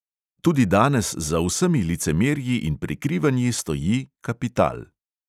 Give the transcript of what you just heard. Tudi danes za vsemi licemerji in prikrivanji stoji – kapital.